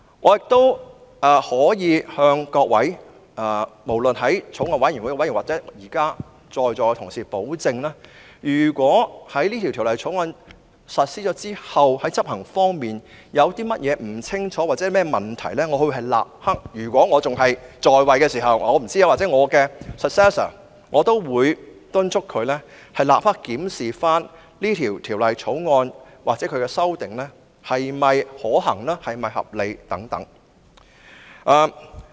我可以向法案委員會委員或在座同事保證，如果在實施《條例草案》後，在執行方面有任何不清楚之處或問題，我會——如果我仍然擔任議員——或敦促我的繼任人立刻檢視《條例草案》的修訂是否可行或合理。